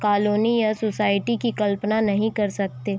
colony और society की कल्पना नहीं कर सकते--